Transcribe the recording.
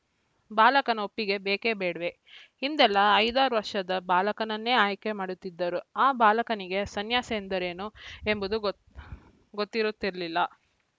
ಬಾಲಕನ ಒಪ್ಪಿಗೆ ಬೇಕೆಬೇಡವೇ ಹಿಂದೆಲ್ಲಾ ಐದು ಆರು ವರ್ಷದ ಬಾಲಕನನ್ನೇ ಆಯ್ಕೆ ಮಾಡುತಿದ್ದರು ಆ ಬಾಲಕನಿಗೆ ಸನ್ಯಾಸ ಎಂದರೇನು ಎಂಬುದೂ ಗೊತ್ತ್ ಗೊತ್ತಿರುತ್ತಿರಲಿಲ್ಲ